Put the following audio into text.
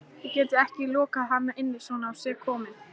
Þið getið ekki lokað hann inni svona á sig kominn